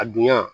A dunya